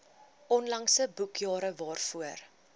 onlangse boekjare waarvoor